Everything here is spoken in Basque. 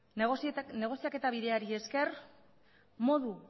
negoziaketa bideari esker modu